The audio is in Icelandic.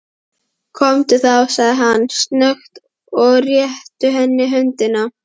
Komdu þá, segir hann snöggt og réttir henni höndina.